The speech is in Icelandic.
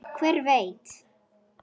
Hver veit